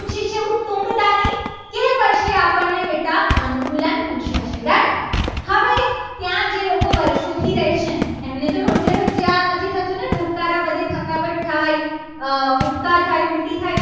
કે આપણને બેટા અનુકૂલન પૂછે છે. done હવે ત્યાં જે લોકો વર્ષોથી રહે છે. એમને તો રોજે રોજે આ નથી થતું. ને ધબકારા વધે થકાવટ થાય. ઉપકાર થાય ઉલટી થાય.